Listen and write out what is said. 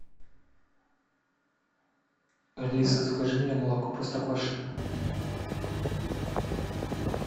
алиса закажи мне молоко простоквашино